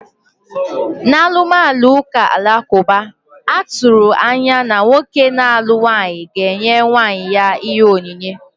N'alụmalụ ụka alakụba, a tụrụ anya na nwoke na-alụ nwaanyị ga-enye nwunye ya ihe onyinye.